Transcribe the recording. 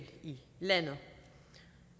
i landet